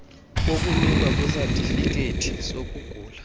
wokunikwa kwesatifikhethi sokugula